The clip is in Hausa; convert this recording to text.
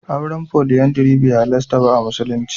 Auren Foliyandari bai halarta ba a musulunci.